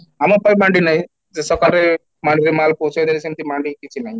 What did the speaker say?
ଆମ ପାଇଁ ମାଣ୍ଡି ନାଇଁ ସେ ସକାରେ ମାଣ୍ଡିରେ ମାଲ ପହଞ୍ଚେଇ ଦେଲେ ସେମିତି ମାଣ୍ଡି କିଛି ନାହିଁ